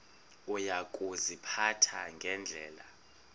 uya kuziphatha ngendlela